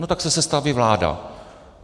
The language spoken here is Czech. No tak se sestaví vláda.